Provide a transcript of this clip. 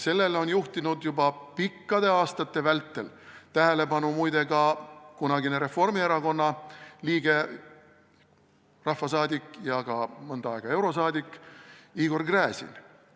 Sellele on muide juhtinud juba pikkade aastate vältel tähelepanu ka kunagine Reformierakonna liige, rahvasaadik ja ka mõnda aega eurosaadik Igor Gräzin.